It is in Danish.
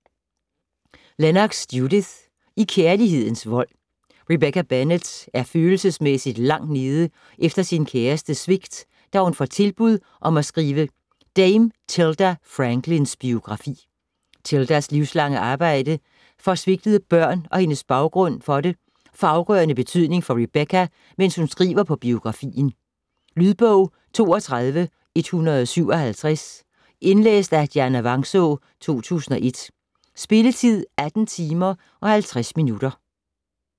Lennox, Judith: I kærlighedens vold Rebecca Bennett er følelsesmæssigt langt nede efter sin kærestes svigt, da hun får tilbud om at skrive Dame Tilda Franklins biografi. Tildas livslange arbejde for svigtede børn og hendes baggrund for det, får afgørende betydning for Rebecca, mens hun skriver på biografien. Lydbog 32157 Indlæst af Dianna Vangsaa, 2001. Spilletid: 18 timer, 50 minutter.